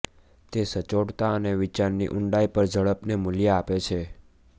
તે સચોટતા અને વિચારની ઊંડાઈ પર ઝડપને મૂલ્ય આપે છે